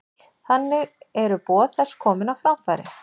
Þannig eru boð þess komin á framfæri.